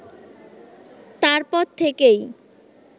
তারপর থেকেই